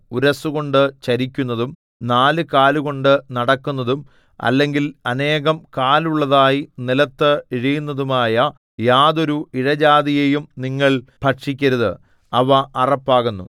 ഉരസ്സുകൊണ്ടു ചരിക്കുന്നതും നാലുകാലുകൊണ്ടു നടക്കുന്നതും അല്ലെങ്കിൽ അനേകം കാലുള്ളതായി നിലത്ത് ഇഴയുന്നതുമായ യാതൊരു ഇഴജാതിയെയും നിങ്ങൾ ഭക്ഷിക്കരുത് അവ അറപ്പാകുന്നു